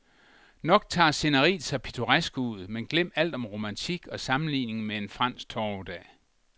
Nok tager sceneriet sig pittoresk ud, men glem alt om romantik og sammenligning med en fransk torvedag.